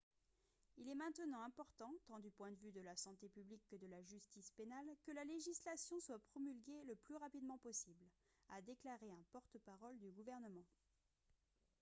« il est maintenant important tant du point de vue de la santé publique que de la justice pénale que la législation soit promulguée le plus rapidement possible » a déclaré un porte-parole du gouvernement